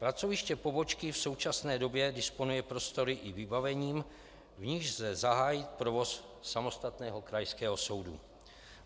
Pracoviště pobočky v současné době disponuje prostory i vybavením, v nichž lze zahájit provoz samostatného krajského soudu.